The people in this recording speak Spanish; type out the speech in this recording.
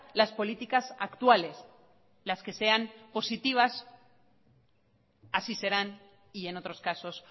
las políticas actuales las que sean positivas así serán y en otros casos